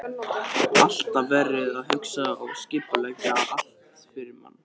Alltaf verið að hugsa og skipuleggja allt fyrir mann.